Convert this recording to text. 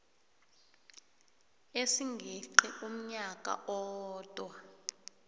esingeqi umnyaka owodwa